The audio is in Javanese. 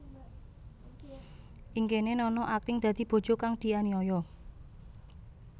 Ing kéné Nana akting dadi bojo kang dianiaya